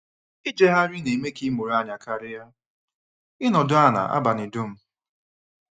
Ijegharị na-eme ka ịmụrụ anya karịa ịnọdụ ala abalị dum.